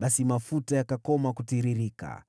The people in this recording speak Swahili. Basi mafuta yakakoma kutiririka.